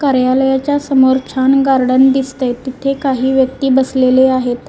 कार्यालयाच्या समोर छान गार्डन दिसतंय तिथे काही व्यक्ती बसलेले आहेत.